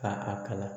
Ka a kala